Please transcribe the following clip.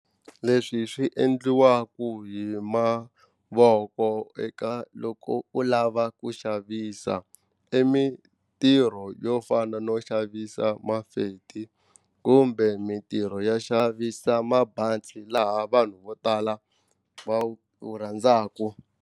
Leswi swi endliwaka hi mavoko eka loko u lava ku xavisa i mitirho yo fana no xavisa mafeti kumbe mintirho ya xavisa mabantsi laha vanhu vo tala va wu rhandzaka.